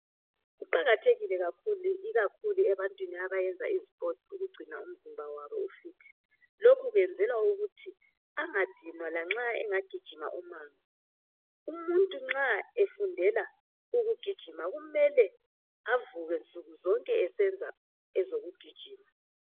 kuqakathekile kakhulu ikakhulu ebantwini abyenza izipotsi ukugcina umzimba wabo ufit lokhu kwenzelwa ukuthi angadinwa lanxa engagijima umango umuntu nxa efundela ukugijima kumele avuke nsuku zonke esenza ezokugijima